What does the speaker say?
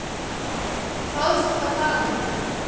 Troðfullt af fagmönnum.